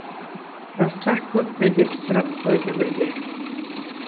жастар көп пе деп сұрап қойды бірде